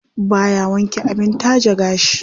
Baya wanke abin taje gashi.